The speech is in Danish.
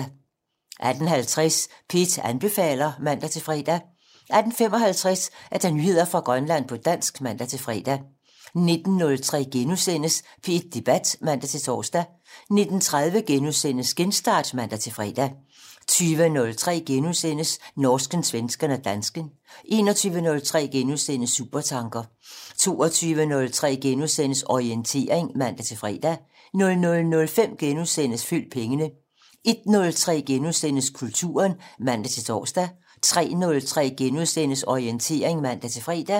18:50: P1 anbefaler (man-fre) 18:55: Nyheder fra Grønland på dansk (man-fre) 19:03: P1 Debat *(man-tor) 19:30: Genstart *(man-fre) 20:03: Norsken, svensken og dansken * 21:03: Supertanker * 22:03: Orientering *(man-fre) 00:05: Følg pengene * 01:03: Kulturen *(man-tor) 03:03: Orientering *(man-fre)